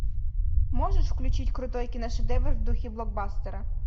можешь включить крутой киношедевр в духе блокбастера